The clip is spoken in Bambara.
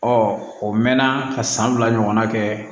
o mɛnna ka san fila ɲɔgɔnna kɛ